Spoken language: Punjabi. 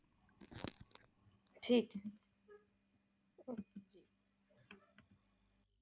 ਠੀਕ ਏ